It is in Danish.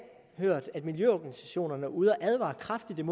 hørt at miljøorganisationerne er ude at advare kraftigt